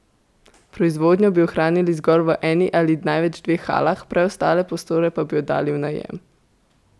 Proizvodnjo bi ohranili zgolj v eni ali največ dveh halah, preostale prostore pa bi oddali v najem.